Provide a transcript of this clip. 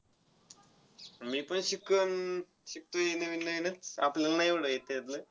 मीपण शिकन~ शिकतोय नवीननवीनच. आपल्याला नाय एवढं येत त्याच्यातलं.